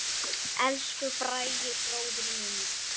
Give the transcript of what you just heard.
Elsku Bragi bróðir minn.